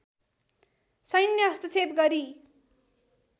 सैन्य हस्तक्षेप गरी